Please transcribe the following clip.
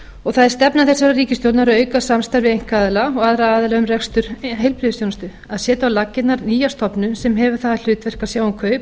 það er stefna þessarar ríkisstjórnar að auka samstarf við einkaaðila og aðra aðila um rekstur heilbrigðisþjónustu að setja á laggirnar nýja stofnun sem hefur það hlutverk að sjá